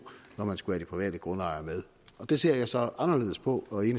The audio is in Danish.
når man skulle have de private grundejere med det ser jeg så anderledes på og i